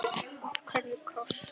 Af hverju kross?